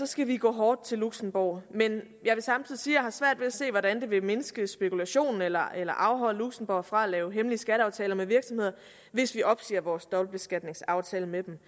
skal vi gå hårdt til luxembourg men jeg vil samtidig sige har svært ved at se hvordan det vil mindske spekulationen eller eller afholde luxembourg fra at lave hemmelige skatteaftaler med virksomheder hvis vi opsiger vores dobbeltbeskatningsaftale med dem